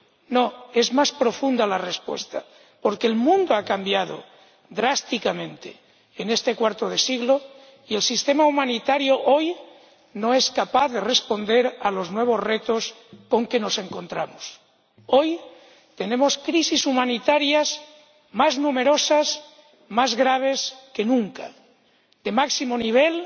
No, es más profunda la respuesta porque el mundo ha cambiado drásticamente en este cuarto de siglo y el sistema humanitario hoy no es capaz de responder a los nuevos retos con que nos encontramos. Hoy tenemos crisis humanitarias más numerosas, más graves que nunca, de máximo nivel